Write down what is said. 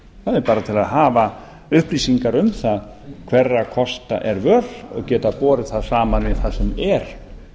það er bara til að hafa upplýsingar um það hverra kosta er völ og geta borið það saman við það sem er